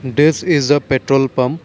this is the petrol pump.